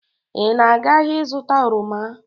Ị na-aga ahịa ịzụta oroma?